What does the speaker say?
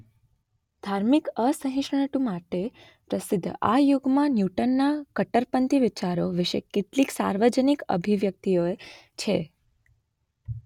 ધાર્મિક અસહિષ્ણુતા માટે પ્રસિદ્ધ આ યુગમાં ન્યૂટનના કટ્ટરપંથી વિચારો વિશે કેટલીક સાર્વજનિક અભિવ્યક્તિઓ છે.